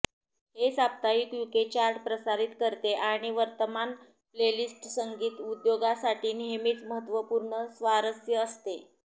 हे साप्ताहिक UK chart प्रसारित करते आणि वर्तमान प्लेलिस्ट संगीत उद्योगासाठी नेहमीच महत्वपूर्ण स्वारस्य असते